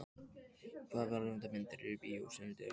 Heiðveig, hvaða myndir eru í bíó á sunnudaginn?